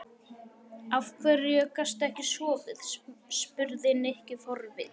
Af hverju gastu ekki sofið? spurði Nikki forvitinn.